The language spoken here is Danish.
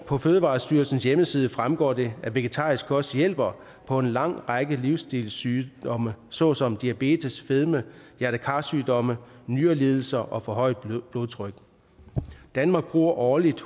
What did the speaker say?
på fødevarestyrelsens hjemmeside fremgår det at vegetarisk kost hjælper på en lang række livsstilssygdomme såsom diabetes fedme hjerte kar sygdomme nyrelidelser og forhøjet blodtryk danmark bruger årligt